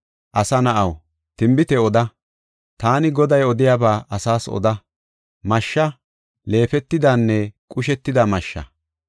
“Asa na7aw, tinbite oda; taani Goday odiyaba asaas oda; mashsha; leefetidanne qushetida mashsha.